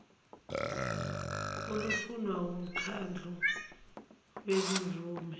olufunwa wumkhandlu wezimvume